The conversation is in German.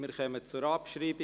Wir kommen zur Abschreibung.